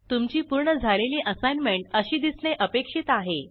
तुमची पूर्ण झालेली असाईनमेंट अशी दिसणे अपेक्षित आहे